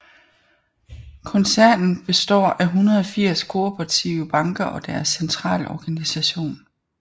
Koncernen består af 180 kooperative banker og deres centralorganisation